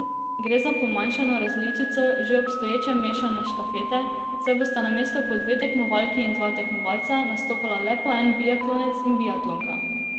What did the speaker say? Gre za pomanjšano različico že obstoječe mešane štafete, saj bosta namesto po dve tekmovalki in dva tekmovalca nastopala le po en biatlonec in biatlonka.